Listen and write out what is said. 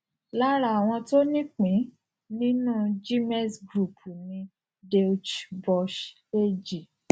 lára àwọn tó nípìnín nínú gmex group ni deutsche börse ag